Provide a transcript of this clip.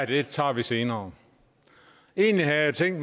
det tager vi senere egentlig havde jeg tænkt